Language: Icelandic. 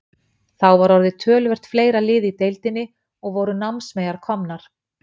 Þá var orðið töluvert fleira lið í deildinni, og voru námsmeyjar komnar.